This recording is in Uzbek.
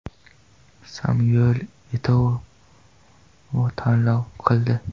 Samyuel Eto‘O tanlov qildi.